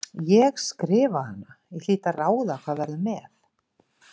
Ég skrifa hana, ég hlýt að ráða hvað verður með.